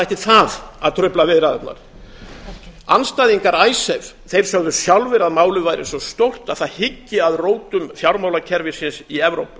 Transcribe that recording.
ætti það að trufla viðræðurnar andstæðingar icesave sögðu sjálfir að málið væri svo stórt að það hyggi að rótum fjármálakerfisins í evrópu